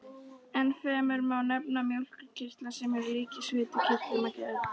Ennfremur má nefna mjólkurkirtla, sem eru líkir svitakirtlum að gerð.